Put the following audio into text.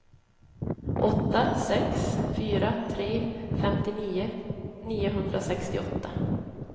åtta sex fyra tre femtionio niohundrasextioåtta